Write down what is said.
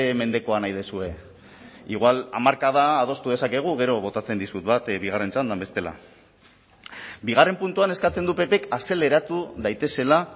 mendekoa nahi duzue igual hamarkada adostu dezakegu gero botatzen dizut bat bigarren txandan bestela bigarren puntuan eskatzen du ppk azeleratu daitezela